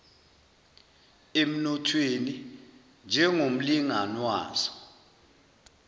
emnothweni njengomlingani wazo